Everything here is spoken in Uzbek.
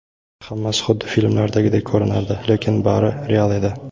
Hammasi xuddi filmdagidek ko‘rinardi, lekin bari real edi.